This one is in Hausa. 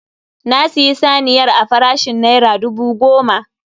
Na siyi saniyar a farashin naira dubu goma